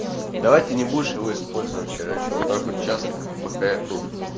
давайте ты не будешь его использовать короче вот так вот часто пока я тут